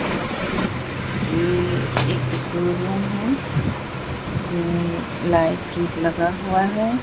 ये एक सिग्नल है लाइट लगा हुआ है।